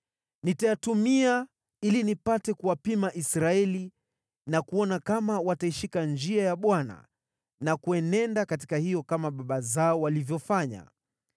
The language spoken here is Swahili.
Nitayatumia ili nipate kuwapima Israeli na kuona kama wataishika njia ya Bwana na kuenenda katika hiyo kama njia baba zao walivyofanya.”